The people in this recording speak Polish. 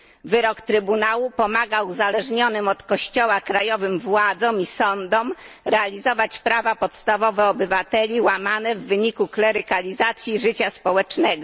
Wyrok Trybunału pomaga uzależnionym od kościoła krajowym władzom i sądom realizować prawa podstawowe obywateli łamane w wyniku klerykalizacji życia społecznego.